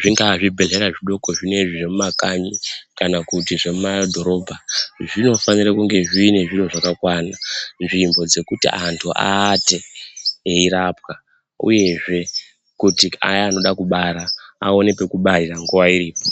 zvingaa zvibhehlera zvidoko zvino zvemumakanyi, kana kuti zvemumadhorobha zvinofanire kunge zvine zviro zvakwana nzvimbo dzekuti anhu aate eirapwa uyezve kuti aya anode kubara aone pekubarira nguwa iripo.